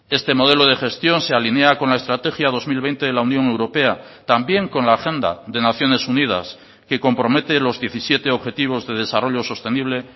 este modelo de gestión se alinea con la estrategia dos mil veinte de la unión europea también con la agenda de naciones unidas que compromete los diecisiete objetivos de desarrollo sostenible